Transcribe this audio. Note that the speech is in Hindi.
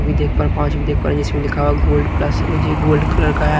पाँच भी देख पा रहे जिसमें लिखा हुआ गोल्ड प्लस गोल्ड कलर का है।